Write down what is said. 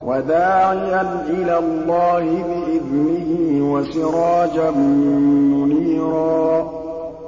وَدَاعِيًا إِلَى اللَّهِ بِإِذْنِهِ وَسِرَاجًا مُّنِيرًا